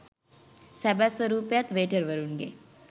සැබෑ ස්වරූපයත් වේටර්වරුන්ගේ